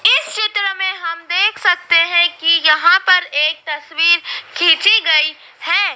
इस चित्र में हम देख सकते हैं कि यहां पर एक तस्वीर खींची गई हैं।